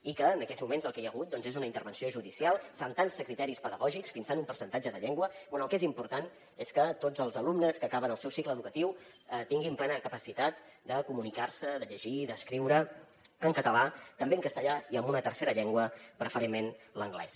i en aquests moments el que hi ha hagut doncs és una intervenció judicial saltant se criteris pedagògics fixant un percentatge de llengua quan el que és important és que tots els alumnes que acaben el seu cicle educatiu tinguin plena capacitat de comunicar se de llegir i d’escriure en català també en castellà i en una tercera llengua preferentment l’anglès